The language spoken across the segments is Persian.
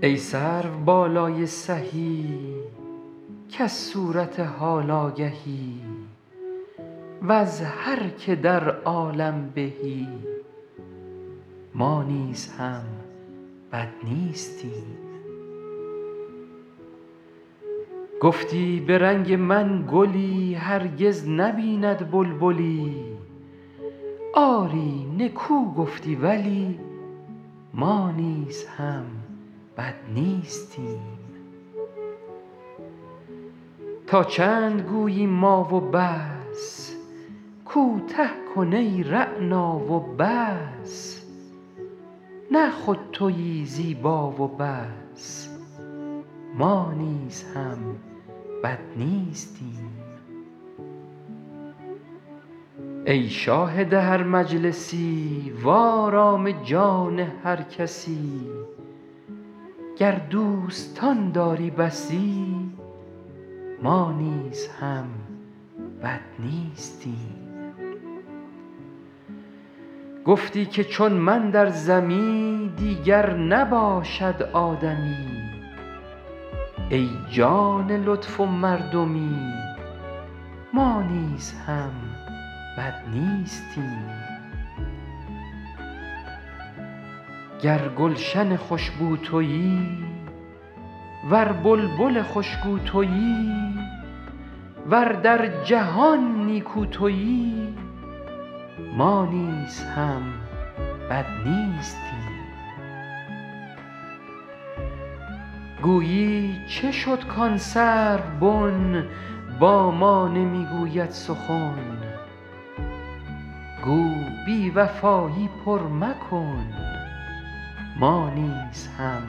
ای سروبالای سهی کز صورت حال آگهی وز هر که در عالم بهی ما نیز هم بد نیستیم گفتی به رنگ من گلی هرگز نبیند بلبلی آری نکو گفتی ولی ما نیز هم بد نیستیم تا چند گویی ما و بس کوته کن ای رعنا و بس نه خود تویی زیبا و بس ما نیز هم بد نیستیم ای شاهد هر مجلسی وآرام جان هر کسی گر دوستان داری بسی ما نیز هم بد نیستیم گفتی که چون من در زمی دیگر نباشد آدمی ای جان لطف و مردمی ما نیز هم بد نیستیم گر گلشن خوش بو تویی ور بلبل خوش گو تویی ور در جهان نیکو تویی ما نیز هم بد نیستیم گویی چه شد کآن سروبن با ما نمی گوید سخن گو بی وفایی پر مکن ما نیز هم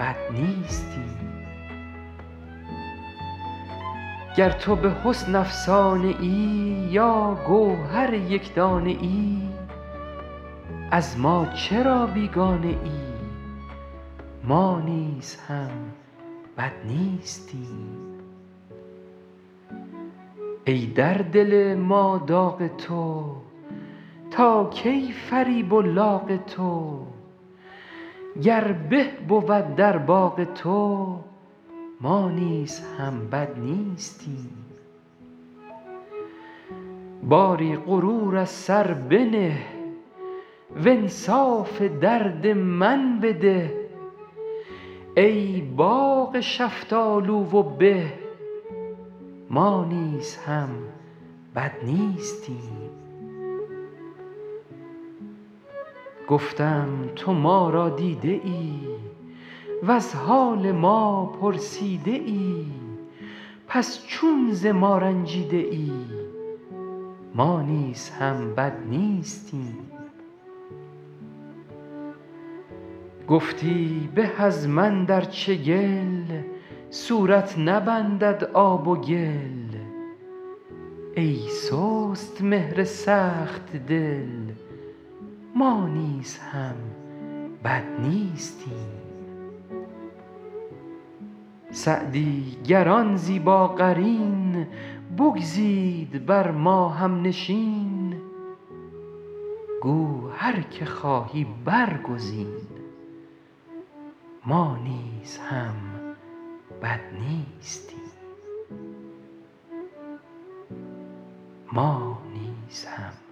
بد نیستیم گر تو به حسن افسانه ای یا گوهر یک دانه ای از ما چرا بیگانه ای ما نیز هم بد نیستیم ای در دل ما داغ تو تا کی فریب و لاغ تو گر به بود در باغ تو ما نیز هم بد نیستیم باری غرور از سر بنه وانصاف درد من بده ای باغ شفتالو و به ما نیز هم بد نیستیم گفتم تو ما را دیده ای وز حال ما پرسیده ای پس چون ز ما رنجیده ای ما نیز هم بد نیستیم گفتی به از من در چگل صورت نبندد آب و گل ای سست مهر سخت دل ما نیز هم بد نیستیم سعدی گر آن زیباقرین بگزید بر ما هم نشین گو هر که خواهی برگزین ما نیز هم بد نیستیم